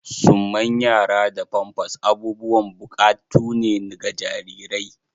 Summan yara da pampas abubuwan bukatu ne ga jarirai.